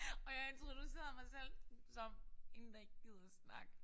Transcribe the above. Og jeg introducerede mig selv som én der ikke gider snakke